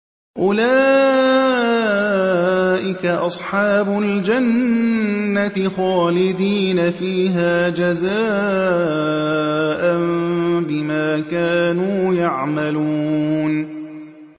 أُولَٰئِكَ أَصْحَابُ الْجَنَّةِ خَالِدِينَ فِيهَا جَزَاءً بِمَا كَانُوا يَعْمَلُونَ